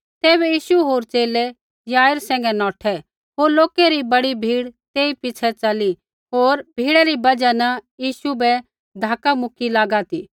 तैबै यीशु होर च़ेले याईरै सैंघै नौठै होर लोकै री बड़ी भीड़ तेई पिछ़ै च़ली होर भीड़ै री बजहा न यीशु बै धक्का मुकी लागा ती